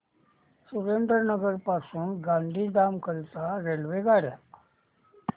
सुरेंद्रनगर पासून गांधीधाम करीता रेल्वेगाड्या